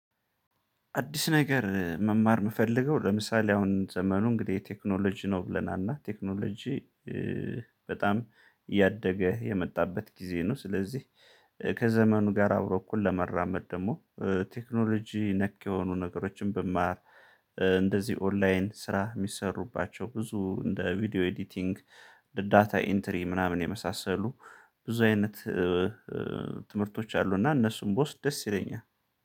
አዲስ ነገር መማር የምፈልገው ለምሳሌ አሁን ዘመኑ እንግዲህ ቴክኖሎጂ ነው ብለናል እና ቴክኖሎጂ በጣም እያደገ የመጣበት ጊዜ ነው። ስለዚህ ከዘመኑ ጋር አብሮ እኩል ለመራመድ ደግሞ ቴክኖሎጂ ነክ የሆኑ ነገሮችን ብማር። እንደዚህ ኦንላይን ስራ የሚሰሩባቸው ብዙ እንደ ቪዲዮ ኤዲቲንግ ዳታ ኢንተሪ ምናምን የመሳሰሉ ብዙ አይነት ትምህርቶች አሉና እነሱም ብወስድ ደስ ይለኛል